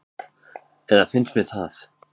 Eða mér finnst það.